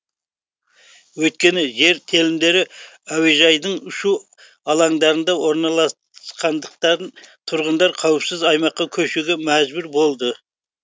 өйткені жер телімдері әуежайдың ұшу алаңдарында орналасқандықтан тұрғындар қауіпсіз аумаққа көшуге мәжбүр болды